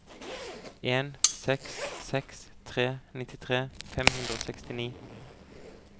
en seks seks tre nittitre fem hundre og sekstini